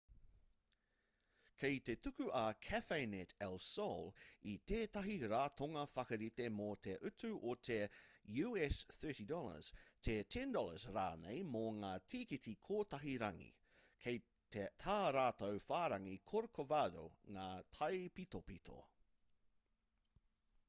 kei te tuku a cafenet el sol i tētahi ratonga whakarite mō te utu o te $us30 te $10 rānei mō ngā tīkiti kotahi-rangi; kei tā rātou whārangi corcovado ngā taipitopito